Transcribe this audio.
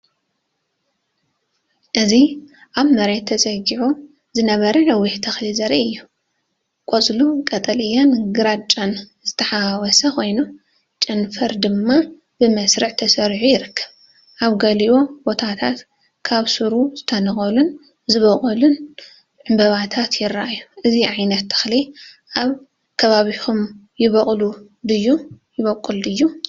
እዚ ኣብ መሬት ተጸጊዑ ዝነበረ ነዊሕ ተኽሊ ዘርኢ እዩ። ቆጽሉ ቀጠልያን ግራጭን ዝተሓዋወሰ ኮይኑ፡ ጨናፍር ድማ ብመስርዕ ተሰሪዑ ይርከብ። ኣብ ገሊኡ ቦታታት ካብ ሱሩ ዝተነቀሉን ዝበቖሉን ዕምባባታት ይረኣዩ። እዚ ዓይነት ተኽሊ ኣብ ከባቢኹም ይበቁል ድዩ?